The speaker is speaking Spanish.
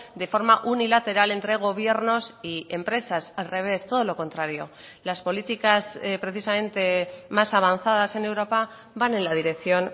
de forma unilateral entre gobiernos y empresas al revés todo lo contrario las políticas precisamente más avanzadas en europa van en la dirección